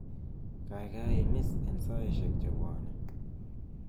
kaigai imis en saisiek chebwone